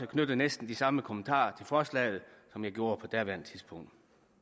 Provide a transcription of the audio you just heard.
knytte næsten de samme kommentarer til forslaget som jeg gjorde på daværende tidspunkt